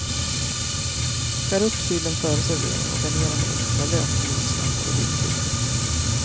Skär upp sillen före servering och garnera med extra lök, morotsslantar och dillkvist.